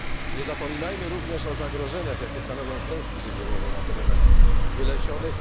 Nie zapominajmy również o zagrożeniach, jakie stanowią klęski żywiołowe na terenach wylesionych.